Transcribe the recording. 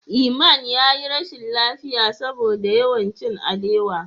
Iman ya yi rashin lafiya saboda yawan cin alewa.